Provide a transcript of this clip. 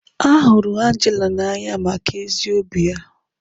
A hụrụ Angela n'anya maka ezi obi ya.